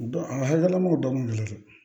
Dɔn a hakililamɔgɔ dɔ kun delila dɛ